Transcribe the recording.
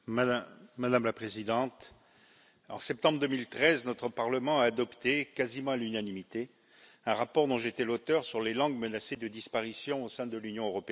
Madame la Présidente, en septembre 2013, notre Parlement a adopté quasiment à l'unanimité un rapport dont j'étais l'auteur sur les langues menacées de disparition au sein de l'Union européenne.